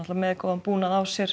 með góðan búnað á sér